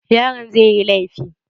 Yaron zai yi laifi